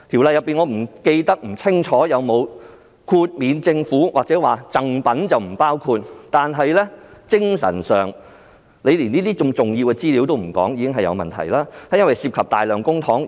我不記得《條例》有否豁免政府或把贈品豁免在外，但在精神上，如果連這些重要資料也不透露，已是很有問題，因為當中涉及大量公帑。